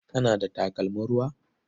Kana da takalmin ruwa?